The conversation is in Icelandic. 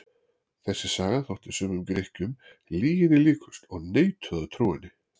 Þessi saga þótti sumum Grikkjum lyginni líkust og neituðu að trúa henni.